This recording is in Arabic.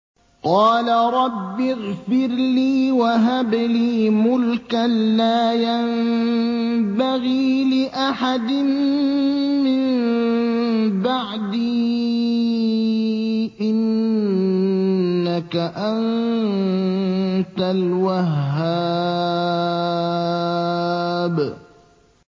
قَالَ رَبِّ اغْفِرْ لِي وَهَبْ لِي مُلْكًا لَّا يَنبَغِي لِأَحَدٍ مِّن بَعْدِي ۖ إِنَّكَ أَنتَ الْوَهَّابُ